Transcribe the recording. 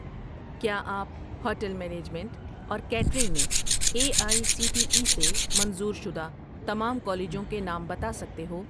کیا آپ hotel management اور کیٹرنگ میں A I C T E سے منظور شدہ تمام کالجوں کے نام بتا سکتے ہو